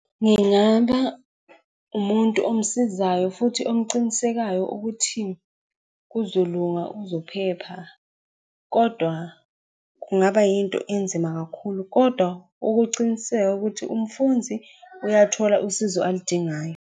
Ngingaba umuntu omsizayo futhi omncinisekayo ukuthi kuzolunga uzophepha. Kodwa kungaba yinto enzima kakhulu, kodwa ukuciniseka ukuthi umfundzi uyathola usizo aludingayo.